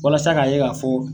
Walasa k'a ye ka fɔ